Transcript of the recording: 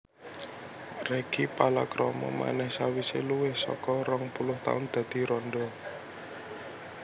Reggy palakrama manèh sawisé luwih saka rong puluh taun dadi randha